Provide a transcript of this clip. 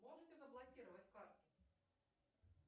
можете заблокировать карты